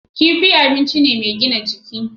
Kifi abinci ne mai gina jiki.